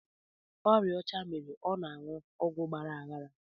Ọrịa ọcha mere ọ na anụ ọgwụ agbara aghara